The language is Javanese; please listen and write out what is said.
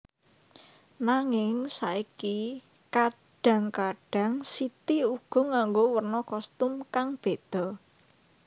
Nanging saiki kadhang kadhang City uga nganggo werna kostum kang beda